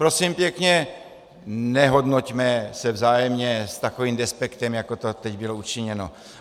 Prosím pěkně, nehodnoťme se vzájemně s takovým despektem, jako to teď bylo učiněno.